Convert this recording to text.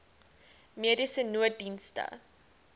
mediese nooddienste